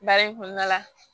Baara in kɔnɔna la